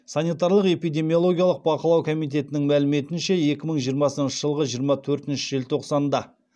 санитариялық эпидемиологиялық бақылау комитетінің мәліметінше екі мың жиырмасыншы жылғы жиырма төртінші желтоқсанда